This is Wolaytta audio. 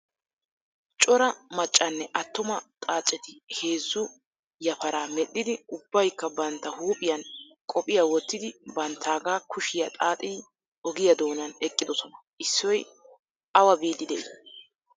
Cora maccanne attuma xaaceti heezzu yapara medhdhidi ubbayikka bantta huuphiyan qophiya wottidi banttaagaa kushiya xaaxidi ogiya doonan eqqidosona. Issoy awa biiddi de'i?